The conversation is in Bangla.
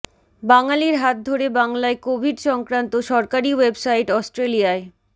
বাঙালির হাত ধরে বাংলায় কোভিড সংক্রান্ত সরকারি ওয়েবসাইট অস্ট্রেলিয়ায়